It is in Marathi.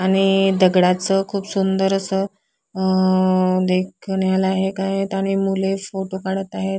आणि दगडाच खूप सुंदर अस अ देखण्याला हे एक आहेत आणि मूले फोटो काढत आहेत.